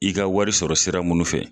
I ka wari sɔrɔ sira munnu fɛ